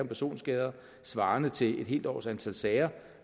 personskader svarende til et helt års antal sager